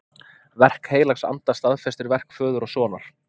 Verk heilags anda staðfestir verk föður og sonar.